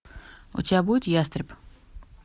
у тебя будет ястреб